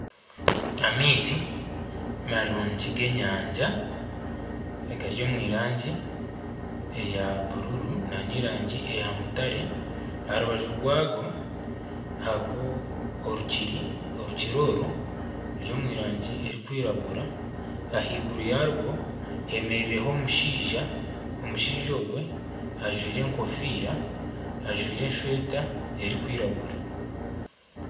Amaizi marungi g'enyanja agari omu rangi eya bururu n'omu rangi eya mutaare aha rubaju rwago hariho orukiiri, orukiiri oru ruri omu rangi erikwiragura ahaiguru yarwo hemereireho omushaija, omushaija ogwe ajwaire enkofiira, ajwaire esweeta erikwiragura.